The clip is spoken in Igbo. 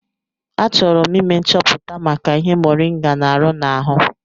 Achọrọ m ime nchọpụta maka ihe moringa n'arụ n'ahụ.